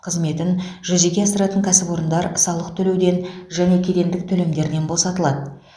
қызметін жүзеге асыратын кәсіпорындар салық төлеуден және кедендік төлемдердерінен босатылады